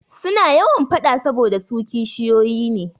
Suna yawan faɗa saboda su kishiyoyi ne.